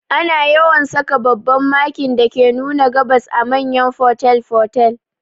Ana yawan saka babban Makin dake nuna gabas a manyan fotel fotel